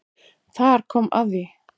Þar kom að því